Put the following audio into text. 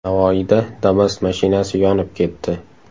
Navoiyda Damas mashinasi yonib ketdi .